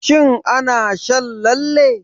Shin ana shan lalle?